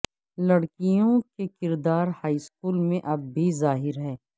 لڑکیوں کے کردار ہائی اسکول میں اب بھی ظاہر ہے